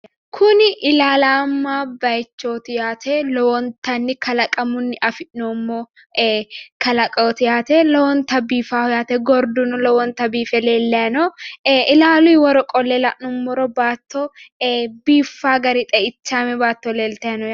Kuni ilallamma bayichooti yaate. Lowontanni kaalaqamunni afi'noommo kalaqooti yaate. Lowonta biifawo yaate. gorduno lowonta biife leellay no ilaaluyi woro qolle la'nummoro baatto ee biiffawo gari xeichaame baatto leeltay no yaate.